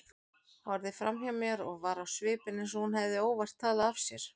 Horfði framhjá mér og var á svipinn eins og hún hefði óvart talað af sér.